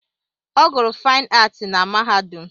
Ọ gụrụ Faịn Aatị na mahadum.